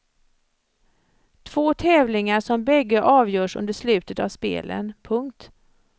Två tävlingar som bägge avgörs under slutet av spelen. punkt